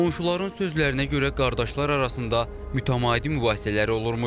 Qonşuların sözlərinə görə qardaşlar arasında mütəmadi mübahisələri olurmuş.